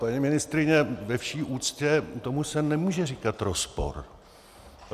Paní ministryně, ve vší úctě, tomu se nemůže říkat rozpor.